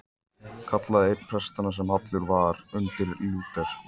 kallaði einn prestanna sem hallur var undir Lúter.